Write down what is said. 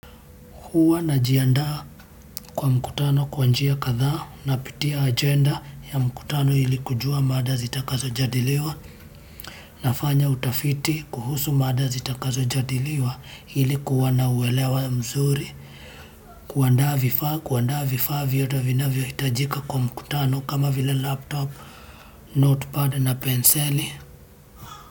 Huwa najiandaa kwa mkutano kwa njia kadhaa napitia agenda ya mkutano ili kujua maada zitakazo jadiliwa. Nafanya utafiti kuhusu maada zitakazo jadiliwa ili kuwa na uwelewa mzuri. Kuandaa vifaa, kuandaa vifaa vyote vinavyo hitajika kwa mkutano kama vile laptop, notepad na penseli.